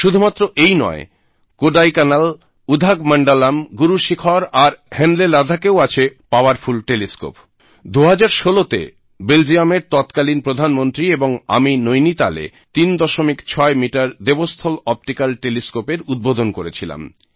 শুধুমাত্র এই নয় কোডাইকানাল উদঘমণ্ডলম্ উদাঘমন্ডলামGuru শিখার আর হানলে Ladakhএও আছে পাওয়ারফুল টেলিস্কোপ 2016 তে বেলজিয়ামের ততকালিন প্রধানমন্ত্রী এবং আমি নৈনিতাল এ 36 মিটার দেবস্থল অপটিক্যাল টেলিস্কোপ এর উদ্বোধন করেছিলাম